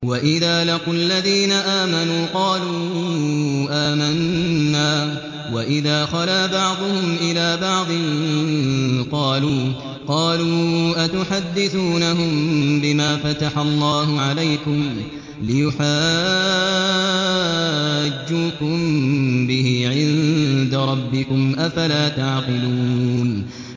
وَإِذَا لَقُوا الَّذِينَ آمَنُوا قَالُوا آمَنَّا وَإِذَا خَلَا بَعْضُهُمْ إِلَىٰ بَعْضٍ قَالُوا أَتُحَدِّثُونَهُم بِمَا فَتَحَ اللَّهُ عَلَيْكُمْ لِيُحَاجُّوكُم بِهِ عِندَ رَبِّكُمْ ۚ أَفَلَا تَعْقِلُونَ